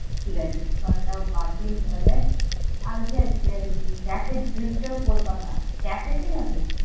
ঠিক আছে, ওখানটাও বাতিল তাহলে কলকাতা। Cafe তে যাবো?